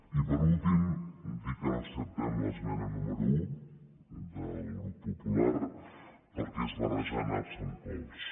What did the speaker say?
i per últim dir que no acceptem l’esmena número un del grup popular perquè és barrejar naps amb cols